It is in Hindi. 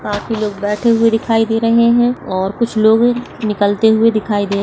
और बाकि लोग बैठे हुए दिखाई दे रहे हैं और कुछ लोग निकलते हुई दिखाई दे --